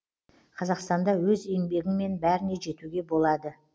қазақстанда өз еңбегіңмен бәріне жетуге болады